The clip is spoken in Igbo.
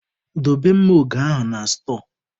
Dobe mma oge ahụ na stọọ!